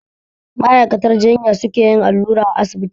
Ma'aikatar jinya su ke yin allura a asibiti